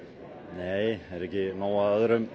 nei er ekki nóg af